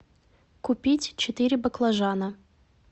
купить четыре баклажана